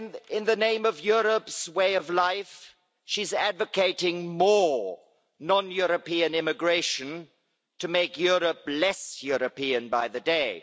In the name of Europe's way of life, she's advocating more non European immigration to make Europe less European by the day.